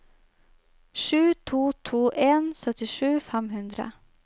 sju to to en syttisju fem hundre